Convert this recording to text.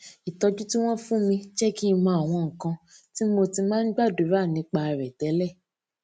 ìtójú tí wón fún mi jé kí n mọ àwọn nǹkan tí mo ti máa ń gbàdúrà nípa rè télè